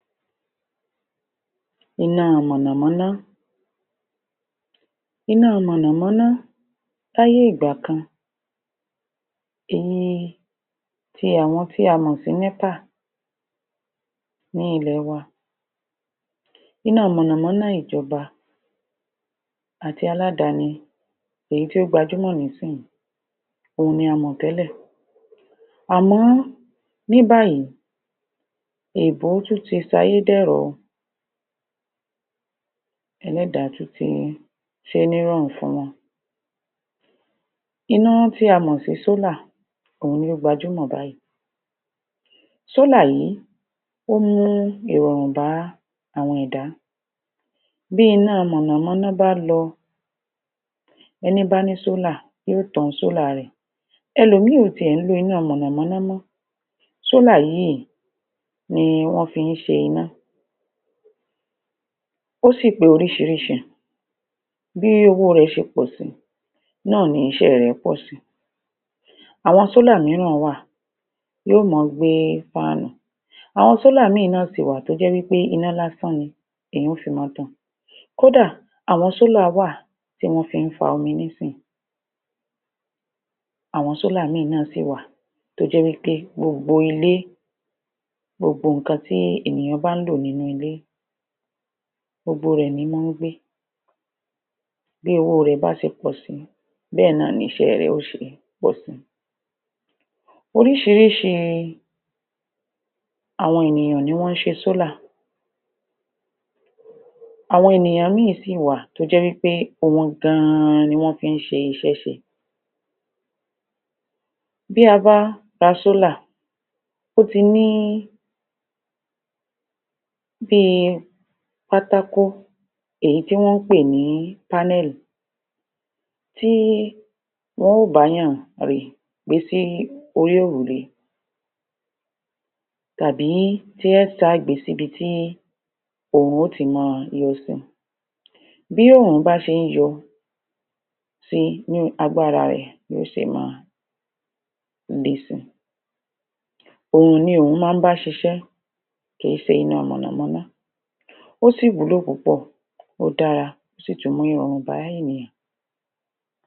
Iná mọ̀nàmọ́ná Iná mọ̀nàmọ́ná láyé ìgbà kan iyẹn ti àwọn tí a mọ̀ sí népà ní ilẹ̀ wa Iná mọ̀nàmọ́ná ìjọba àti aládàáni èyí tí ó gbajúmọ̀ nísinyí òun ni a mọ̀ tẹ́lẹ̀ àmọ́ ní báyìí èèbó tún ti sayé dẹ̀rọ̀ o ẹlẹ́dàá tún ti ṣé ní ìrọ̀rùn fún wa iná tí a mọ̀ sí solar òun tó gbajúmọ̀ báyìí solar yìí ó mú ìrọ̀rùn bá àwọn ẹ̀dá bí iná mọ̀nàmọ́ná bá lọ ẹni bá ní solar yóò tan solar rẹ̀ ẹlòmíì ò tiẹ̀ ń lo iná mọ̀nàmọ́ná mọ́ solar yíì ni wọ́n fi ń se iná mọ̀nàmọ́ná ó sì pé orísirísi bí owó rẹ̀ ṣe pọ̀ sí náà ni iṣẹ́ rẹ̀ pọ̀ sí àwọn solar míràn wà yóò máa gbé fáánù àwọn solar míràn sìwà tó jẹ́ wí pé iná lásán ni èèyàn ó fi máa tàn kó dà àwọn solar wà tí wọ́n fi ń fa omi nísìnyí àwọn solar míràn náà sì wà tó jẹ́ wí pé gbogbo ilé gbogbo nǹkan tí ènìyàn bá ń lò nínú ilé gbogbo rẹ̀ ní máa ń gbé bí owó rẹ̀ bá se pọ̀ sí bẹ́è náà ni iṣẹ́ rẹ̀ yóò ṣe pọ̀ sí oríṣirísi àwọn ènìyàn ni wọ́n ṣe solar àwọn ènìyàn míràn sì wà tó jẹ́ wí pé òun gan an ni wọ́n fi ń ṣe iṣẹ́ ṣe bí a bá fa solar ó ti ní bí i pátákó èyí tí wọ́n pè ní panel tí wọn ó bá èèyàn gbé sí orí òrùlé tàbí tí wọn ó ṣa gbé sí ibi tí oòrùn ó ti máa yọ si bí oòrùn bá ṣe ń yọ sí ni agbára rẹ̀ yó ṣe máa le si òòrùn ni òun máa ń bá ṣiṣẹ́ kì í ṣe iná mọ̀nàmọ́ná ó sì wúlò púpọ̀ ó dára ó sì tún mú ìrọ̀rùn bá ènìyàn